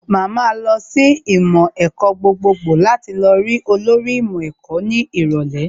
Màá ma lọ sí ìmọ̀ ẹ̀kọ́ gbogbogbò láti lọ rí olórí ìmọ̀ ẹ̀kọ́ ní ìrọ̀lẹ́